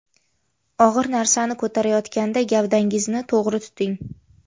Og‘ir narsani ko‘tarayotganda gavdangizni to‘g‘ri tuting.